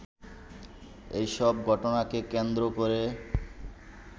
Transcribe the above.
এসব ঘটনাকে কেন্দ্র করে